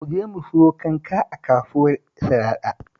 Mu je mu sayo kanka a kasuwar Sharaɗa